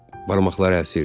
Barmaqları əsirdi.